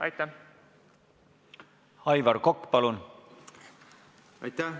Aitäh, hea juhataja!